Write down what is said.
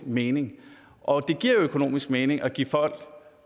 mening og det giver økonomisk mening at give folk og